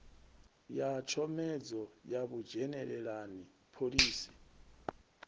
ya tshomedzo ya vhudzhenelelani phoḽisi